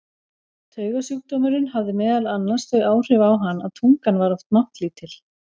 Taugasjúkdómurinn hafði meðal annars þau áhrif á hann að tungan var oft máttlítil.